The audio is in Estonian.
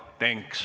Palun!